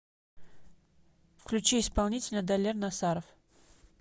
включи исполнителя далер насаров